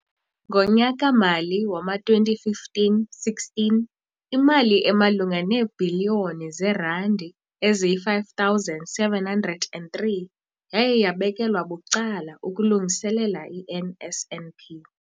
Ngonyaka-mali wama-2015, 16, imali emalunga neebhiliyoni zeerandi eziyi-5 703 yaye yabekelwa bucala ukulungiselela i-NSNP.